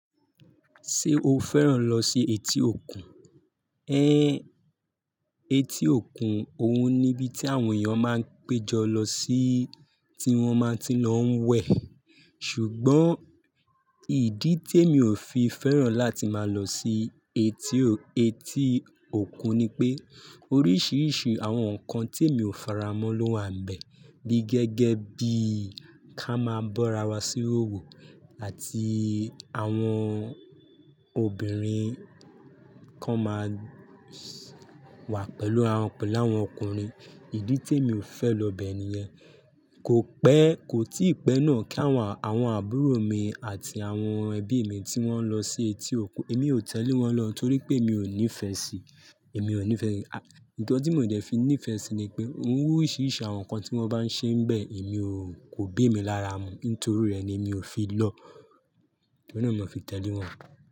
Ṣé o fẹ́ràn lọ sí etí òkun? Ẹn, etí òkun, òun ni ibi tí àwọn èèyàn máa ń péjọ lọ sí tí wọ́n máa ti lọ ń wẹ̀. Ṣùgbọ́n ìdí tí èmi ò fi fẹ́ràn láti máa lọ sí etí ò- etí o òkun ni pé oríṣiríṣi àwọn nǹkan tí èmi ò faramọ́ ló wà níbẹ̀ bí gẹ́gẹ́ bí ká máa bọ́ra wá sí wowò àti àwọn obìnrin kan máa wà pẹ̀lú àwọn pẹ̀lú àwọn ọkùnrin. Ìdí tí èmi ò n fẹ́ lọ bẹ̀ ni yẹn. Ko pẹ, ko tii pẹ náà ki àwọn àbúrò mi àti àwọn ẹbi mi tí wọn lọ sí etí okun, emi o tẹle wọn lọ o to ri pe emi o nifẹ si, emi o nifẹ nkán ti mi o dẹ fi nifẹ si ní pe oríṣiríṣi àwọn nkan ti wan ba n ṣe n bẹ emi o, ko b'emi lára mu. Nítorí rẹ̀ ni mi ò fi lọ. Óun náà mi ò fi tẹ̀lé wọ́n.